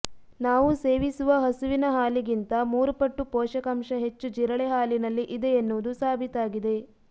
ನಾವು ಸೇವಿಸುವ ಹಸುವಿನ ಹಾಲಿಗಿಂತ ಮೂರುಪಟ್ಟು ಪೋಷಕಾಂಶ ಹೆಚ್ಚು ಜಿರಳೆ ಹಾಲಿನಲ್ಲಿ ಇದೆ ಎನ್ನುವುದು ಸಾಬೀತಾಗಿದೆ